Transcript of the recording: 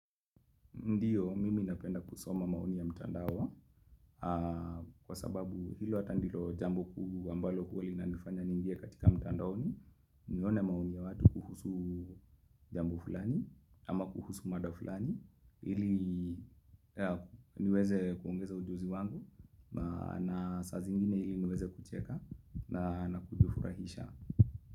Ndio, mimi napenda kusoma maoni ya mtandao, kwa sababu hilo ata ndilo jambo kuu, ambalo huwa inanifanya ningie katika mtandaoni, nione maoni ya watu kuhusu jambo fulani, ama kuhusu mada fulani, ili niweze kuongeza ujuzi wangu, na saa zingine hili niweze kucheka, na kujifurahisha.